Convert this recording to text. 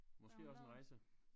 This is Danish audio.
Måske også en rejse